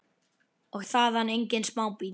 Og það engan smábíl.